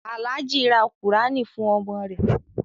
Alhaji ra Kùránì fún ọmọ rẹ.